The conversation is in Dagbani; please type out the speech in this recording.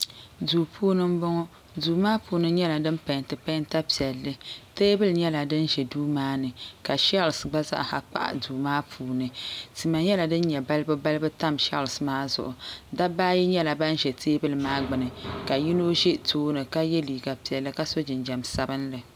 Duu puuni m boŋɔ duu maa puuni nyɛla din penti penta piɛlli teebuli nyɛla din ʒɛ duu maani ka sheels gba zaa kpahi duu maa puuni tima nyɛla din nyɛ balibu balibu tam sheels maa zuɣu dabba ayi nyɛla ban. za teebuli maa gbini ka yino ʒɛ tooni ka ye liiga piɛlli ka so jinjiɛm sabinli.